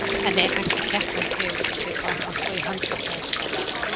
En er hægt að keppa í fegurð á svipaðan hátt og í handbolta eða skák?